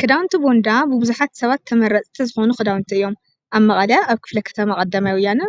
ክዳውንቲ ቦንዳ ንብዙሓት ሰባት ተመረፅቲ ዝኾኑ ኽዳውንቲ እዮም፡፡ ኣብ መቐለ ኣብ ክፍለ ኸተማ ቐዳማይ ወያነ